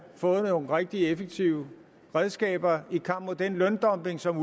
fået nogle rigtig effektive redskaber i kampen mod den løndumping som